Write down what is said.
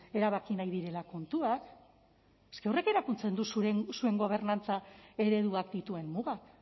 erabaki nahi direla kontuak es que horrek erakusten du zuen gobernantza ereduak dituen mugak